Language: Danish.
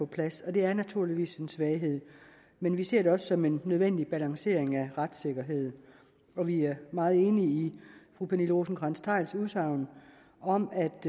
plads og det er naturligvis en svaghed men vi ser det også som en nødvendig balancering af retssikkerheden og vi er meget enige i fru pernille rosenkrantz theils udsagn om